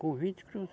Com vinte cruz